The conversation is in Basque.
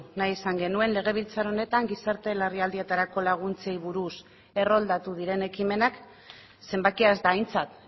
nahi izan genuen legebiltzar honetan gizarte larrialdietarako laguntzei buruz erroldatu diren ekimenak zenbakia ez da aintzat